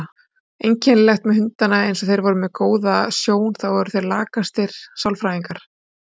Einkennilegt með hundana eins og þeir voru með góða sjón, þá voru þeir lakastir sálfræðingar.